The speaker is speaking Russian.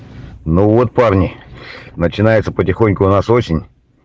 ну вот парни начинается потихоньку у нас осень